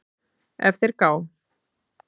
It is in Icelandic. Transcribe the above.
ef þeir gá